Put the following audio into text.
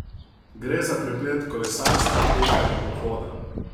Gre za preplet kolesarstva, teka in pohoda.